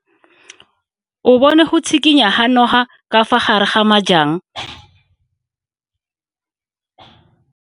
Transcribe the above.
O bone go tshikinya ga noga ka fa gare ga majang.